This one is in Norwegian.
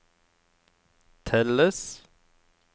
telles